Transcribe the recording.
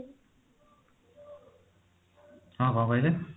ହଁ କଣ କହିଲେ